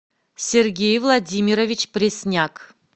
сергей владимирович пресняк